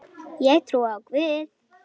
Ég trúi á Guð!